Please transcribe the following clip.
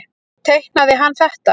Teiknaði hann þetta?